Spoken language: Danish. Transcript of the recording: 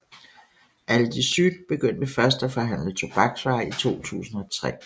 Aldi Süd begyndte først at forhandle tobaksvarer i 2003